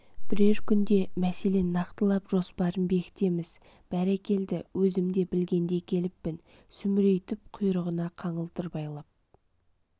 бірер күнде мәселен нақтылап жоспарын бекітеміз бәрекелді өзім де білгендей келіппін сүмірейтіп құйрығына қаңылтыр байлап